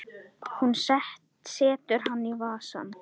Hún setur hann í vasann.